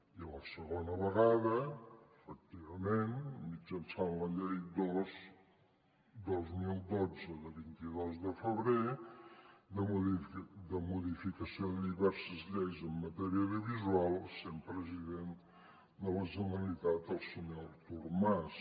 i la segona vegada efectivament mitjançant la llei dos dos mil dotze de vint dos de febrer de modificació de diverses lleis en matèria audiovisual sent president de la generalitat el senyor artur mas